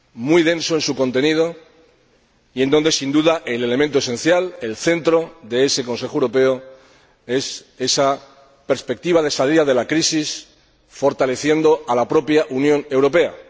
muy denso en su contenido y donde, sin duda, el elemento esencial, el centro de ese Consejo Europeo es esa perspectiva de salida de la crisis, fortaleciendo a la propia Unión Europea.